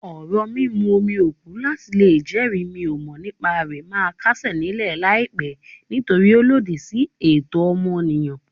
Orò mímú omi òkú láti lè jẹ́rìí n-ò-mọ̀-nípa-rẹ̀ máa kásẹ̀ nílẹ̀ láìpẹ́ nítorí ó lòdì sí ẹ̀tọ́ ọmọnìyàn.